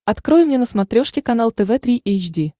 открой мне на смотрешке канал тв три эйч ди